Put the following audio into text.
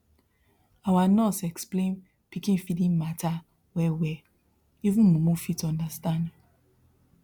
our nurse explain pikin feeding matter wellwell even mumu fit understand